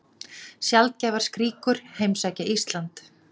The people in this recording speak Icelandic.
Sjaldgæfar skríkjur heimsækja Ísland